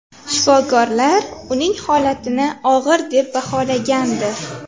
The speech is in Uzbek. Shifokorlar uning holatini og‘ir deb baholagandi.